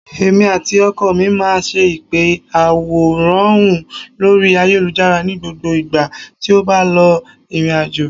Èmi àti ọkọ mi máa ń ṣe ìpè àwòránhùn lórí ayélujára ní gbogbo ìgbà tí ó bá lọ ìrìnàjò